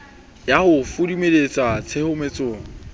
ya ho di fumantshwa tshedimosetso